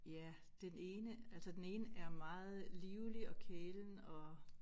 Ja den ene altså den ene er meget livlig og kælen og